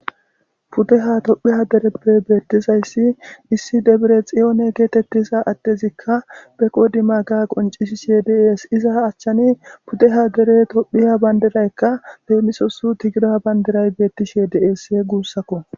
Pudeha tophiya dereppe beetizayssi issi debirexihon getetizayssikka be qodimaaga qonccisishe de7ees. Iza achani pudeha gede tophiya bandiraykka lemisosi tigra bandiray beetishe de7ees guussakko.